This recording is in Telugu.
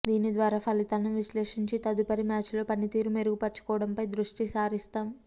దీని ద్వారా ఫలితాలను విశ్లేషించి తదుపరి మ్యాచ్ లో పనితీరు మెరుగుపరచుకోవడంపై దృష్టి సారిస్తాం